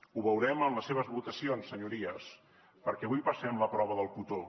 ho veurem en les seves votacions senyories perquè avui passem la prova del cotó